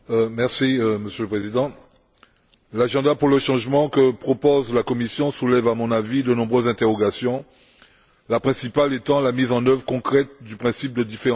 Monsieur le Président, l'agenda pour le changement que propose la Commission soulève, à mon avis, de nombreuses interrogations, la principale étant la mise en œuvre concrète du principe de différenciation.